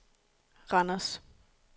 Randers